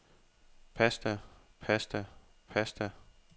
pasta pasta pasta